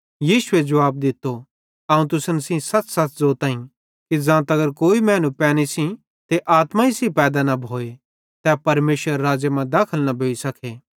यीशुए जुवाब दित्तो अवं तुसन सेइं सच़सच़ ज़ोताईं कि ज़ां तगर कोई मैनू पैनी सेइं ते आत्माई सेइं पैदा न भोए तै परमेशरेरे राज़्ज़े मां दाखल न भोइ सके